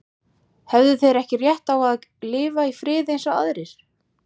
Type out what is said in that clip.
Höfðu þeir ekki rétt á að lifa í friði eins og aðrir?